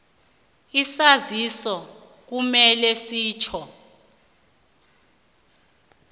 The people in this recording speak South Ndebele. isaziso kumele sitjho